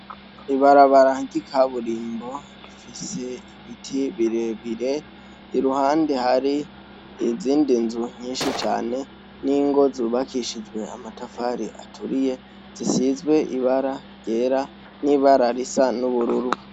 Ibarabara ry'ikaburimbo, rifise ibiti birebire ,iruhande hari izindi nzu nyinshi cane, n'ingo zubakishijwe amatafari aturiye, zisizwe ibara ryera n'ibara risa n'ubururu.